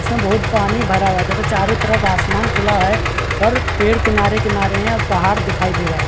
इसमें बहुत पानी भरा हुआ है तथा चारो तरफ़ आसमान खुला है और पेड़ किनारे-किनारे है और पहाड़ दिखाई दे रहे हैं।